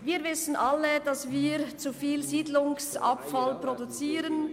Wir wissen alle, dass wir zu viel Siedlungsabfall produzieren.